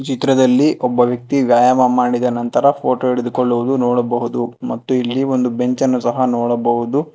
ಚಿತ್ರದಲ್ಲಿ ಒಬ್ಬ ವ್ಯಕ್ತಿ ವ್ಯಾಯಾಮ ಮಾಡಿದ ನಂತರ ಫೋಟೋ ಹಿಡಿದುಕೊಳ್ಳುವುದು ನೋಡಬಹುದು ಮತ್ತು ಇಲ್ಲಿ ಒಂದು ಬೆಂಚ್ ಅನ್ನು ಸಹ ನೋಡಬಹುದು.